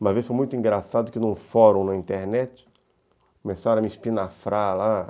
Uma vez foi muito engraçado que num fórum na internet começaram a me espinafrar lá.